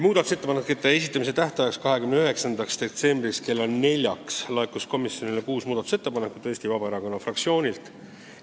Muudatusettepanekute esitamise tähtajaks, 29. detsembril kella neljaks laekus komisjonile kuus muudatusettepanekut Eesti Vabaerakonna fraktsioonilt.